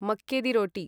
मक्की दि रोटी